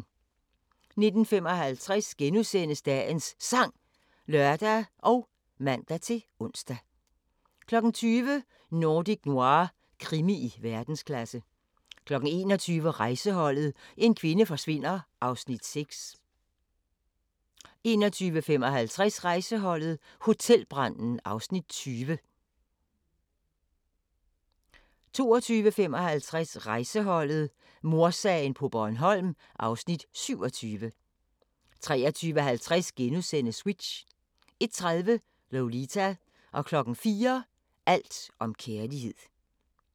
19:55: Dagens Sang *(lør og man-ons) 20:00: Nordic Noir – krimi i verdensklasse 21:00: Rejseholdet: En kvinde forsvinder (Afs. 6) 21:55: Rejseholdet: Hotelbranden (Afs. 20) 22:55: Rejseholdet: Mordsagen på Bornholm (Afs. 27) 23:50: Switch * 01:30: Lolita 04:00: Alt om kærlighed